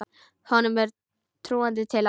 Honum er trúandi til alls.